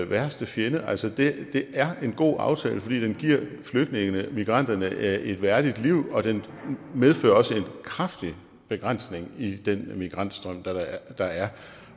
værste fjende altså det er en god aftale fordi den giver flygtningene migranterne et et værdigt liv og den medfører også en kraftig begrænsning i den migrantstrøm der er